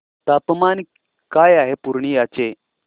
तापमान काय आहे पूर्णिया चे